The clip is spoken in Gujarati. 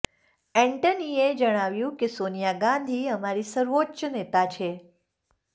એન્ટનીએ જણાવ્યું કે સોનિયા ગાંધી અમારી સર્વોચ્ચ નેતા છે